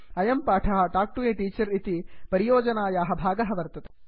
अयं पाठः talk to a teacher इति परियोजनायाः भागः वर्तते